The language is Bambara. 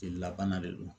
Jelila bana de don